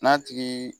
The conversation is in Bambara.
N'a tigi